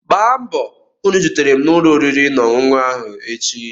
Gba mbọ hụ na ị zutere m na ụlọ oriri na ọṅụṅụ ahụ echi!